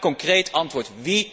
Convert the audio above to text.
Graag concreet antwoord.